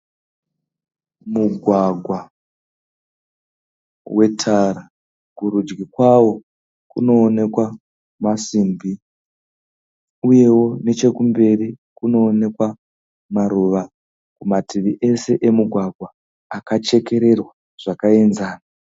mugwagwa wetara, kurudyi kwawo kunowonekwa masimbi uyewo nechekumberi kunowonekwa maruva kumativi ese emugwagwa akachekererwa zvakaenzana.